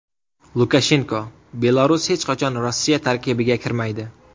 Lukashenko: Belarus hech qachon Rossiya tarkibiga kirmaydi.